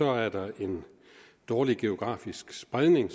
er der en dårlig geografisk spredning